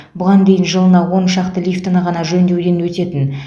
бұған дейін жылына он шақты лифтіні ғана жөндеуден өтетін